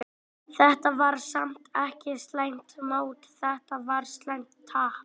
Þetta var samt ekki slæmt mót, þetta var slæmt tap.